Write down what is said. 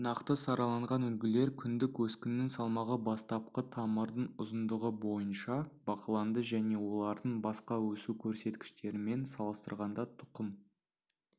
нақты сараланған үлгілер күндік өскіннің салмағы бастапқы тамырдың ұзындығы бойынша бақыланды және олардың басқа өсу көрсеткіштерімен салыстырғанда тұқым